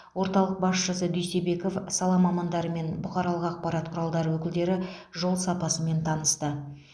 орталық басшысы дүйсебеков сала мамандары мен бұқаралық ақпарат құралдары өкілдері жол сапасымен танысты